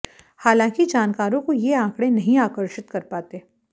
हालांकि जानकारों को ये आंकड़े नहीं आकर्षित कर पाते